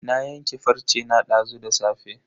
Na yanke farce na dazu da safe.